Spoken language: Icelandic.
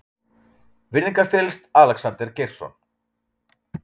Virðingarfyllst, Alexander Geirsson.